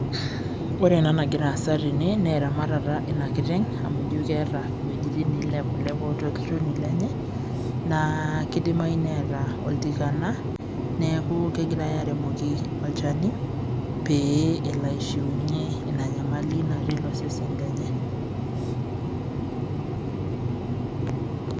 Ore ena nagira aasa tene, naa eramatata inakiteng',amu ijo keeta iwuejiting nailepulepu olchoni lenye, naa kidimayu neeta oltikana, neeku kegirai aremoki olchani, pee elo aishiunye ina nyamali natii ilo sesen lenye.